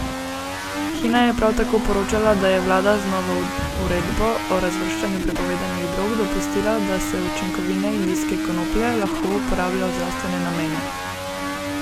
Hina je prav tako poročala, da je vlada z novo uredbo o razvrščanju prepovedanih drog dopustila, da se učinkovine indijske konoplje lahko uporablja v zdravstvene namene.